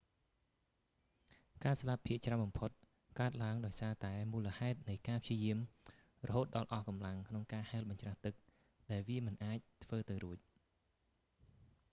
ការស្លាប់ភាគច្រើនបំផុតកើតឡើងដោយសារតែមូលហេតុនៃការព្យាយាមរហូតដល់អស់កម្លាំងក្នុងការហែលបញ្ច្រាស់ទឹក ដែលវាមិនអាចធ្វើទៅរួច